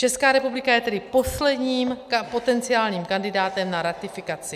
Česká republika je tedy posledním potenciálním kandidátem na ratifikaci.